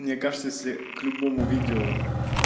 мне кажется если к любому видео